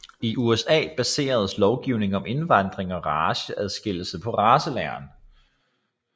I USA baseredes lovgivning om indvandring og raceadskillelse på racelæren